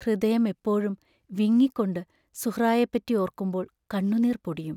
ഹൃദയം എപ്പോഴും വിങ്ങിക്കൊണ്ടി സുഹ്റായെപ്പറ്റി ഓർക്കുമ്പോൾ കണ്ണുനീർ പൊടിയും.